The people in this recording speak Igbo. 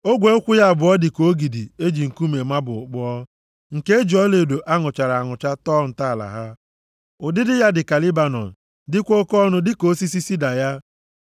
Ogwe ụkwụ ya abụọ dị ka ogidi e ji nkume mabụl kpụọ, nke e ji ọlaedo a ṅụchara anụcha tọọ ntọala ha. Ụdịdị ya dị ka Lebanọn, dịkwa oke ọnụ dịka osisi sida ya.